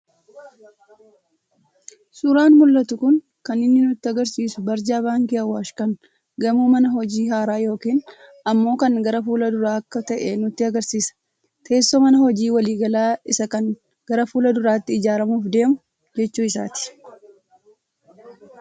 Suuraan mul'atu kun kaninni nutti agarsiisu barjaa 'bank' Awaash kan gamoo mana hojii haaraa yookiin ammoo kan gara fuul-duraa akka ta'e nutti agarsiisa. Teessoo mana hojii waliigalaa isaa kan gara fuul-duraatti ijaaramuuf deemu jechuu isaati.